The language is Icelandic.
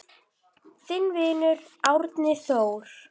Þinn vinur, Árni Þór.